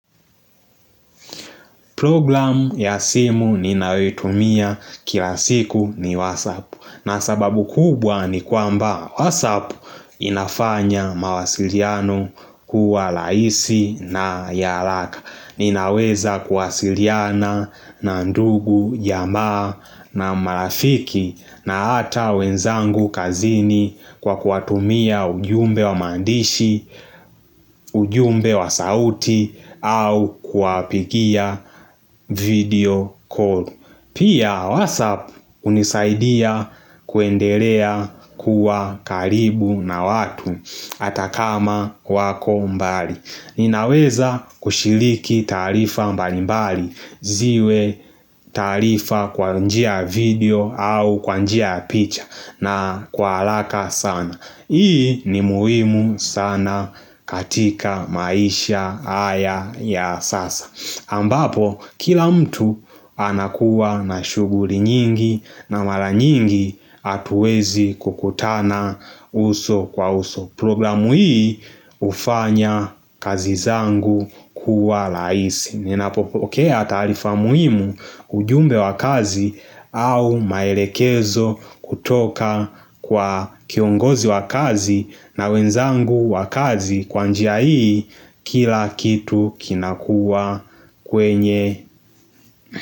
Programu ya simu ninayoitumia kila siku ni watsapp na sababu kubwa ni kwamba watsapp inafanya mawasiliano kuwa laisi na ya haraka Ninaweza kuwasiliana na ndugu jamaa na marafiki na ata wenzangu kazini kwa kuwatumia ujumbe wa maandishi, ujumbe wa sauti au kuwapigia video call Pia WhatsApp hunisaidia kuendelea kuwa karibu na watu ata kama wako mbali Ninaweza kushiriki taarifa mbalimbali, ziwe taarifa kwa njia ya video au kwa njia ya picha na kwa haraka sana. Hii ni muhimu sana katika maisha haya ya sasa. Ambapo, kila mtu anakuwa na shughuli nyingi na mara nyingi hatuwezi kukutana uso kwa uso. Programu hii hufanya kazi zangu kuwa rahisi Ninapopokea taarifa muhimu ujumbe wa kazi au maelekezo kutoka kwa kiongozi wa kazi na wenzangu wa kazi kwa njia hii kila kitu kinakuwa kwenye.